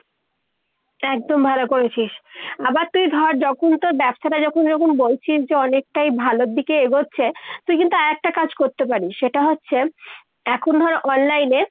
একদম ভালো করেছিস। আবার তুই ধর যখন তোর ব্যবসাটা যখন এরকম বলছিস যে অনেকটাই ভালোর দিকে এগোচ্ছে, তুই কিন্তু আর একটা কাজ করতে পারিস। সেটা হচ্ছে এখন ধর online এ